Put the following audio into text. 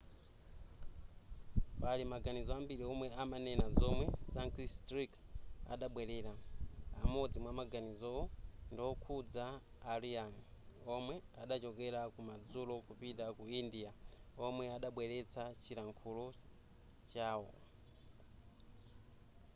pali maganizo ambiri omwe amanena zamomwe sanskrit adabwelera amodzi mwamaganizowo ndiwokhuza a aryan womwe adachokera kumadzulo kupita ku india womwe adabweretsa chilankhulo chawo